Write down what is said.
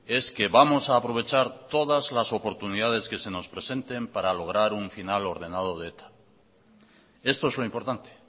es que vamos a aprovechar todas las oportunidades que se nos presenten para lograr un final ordenado de eta esto es lo importante